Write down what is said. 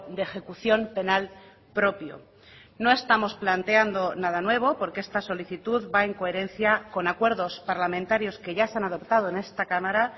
de ejecución penal propio no estamos planteando nada nuevo porque esta solicitud va en coherencia con acuerdos parlamentarios que ya se han adoptado en esta cámara